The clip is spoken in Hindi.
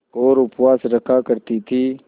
और उपवास रखा करती थीं